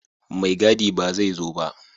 Maigadi ba zai zo ba